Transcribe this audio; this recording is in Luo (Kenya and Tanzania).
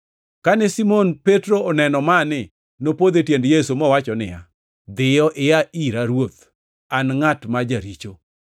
Kane Simon Petro oneno mani, nopodho e tiend Yesu, mowacho niya, “Dhiyo ia ira Ruoth, an ngʼat ma jaricho!”